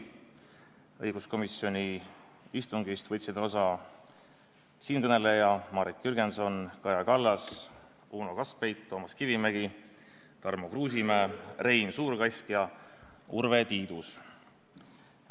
Õiguskomisjoni istungist võtsid osa siinkõneleja, Marek Jürgenson, Kaja Kallas, Uno Kaskpeit, Toomas Kivimägi, Tarmo Kruusimäe, Rein Suurkask ja Urve Tiidus.